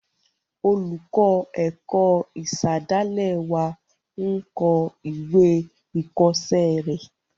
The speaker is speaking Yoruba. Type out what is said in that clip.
Olùkọ́ ẹ̀kọ́ ìsàdálẹ̀ wa n kọ ìwé ìkọ́sẹ́ rẹ̀